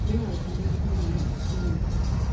bụrụ azụmahịa na-erite uru.